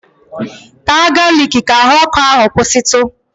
Taa galiki ka ahụ ọkụ ahụ kwụsịtụ!